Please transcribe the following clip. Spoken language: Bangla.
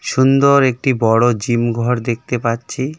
সুন্দর একটি বড়ো জিমঘর দেখতে পাচ্ছি .